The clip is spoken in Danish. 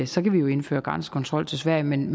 så kan vi jo indføre grænsekontrol til sverige men